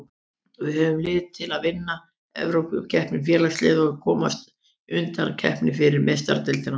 Við höfum lið til að vinna Evrópukeppni Félagsliða og komast í undankeppni fyrir Meistaradeildina.